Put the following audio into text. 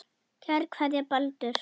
Kær kveðja, Baldur